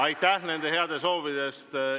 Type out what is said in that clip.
Aitäh nende heade soovide eest!